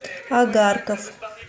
агарков